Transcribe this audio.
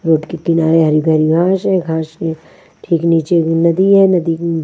road के किनारे हरी भरी घास है घास के ठीक नीचे नदी है नदी--